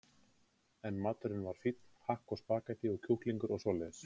En maturinn var fínn, hakk og spaghettí og kjúklingar og svoleiðis.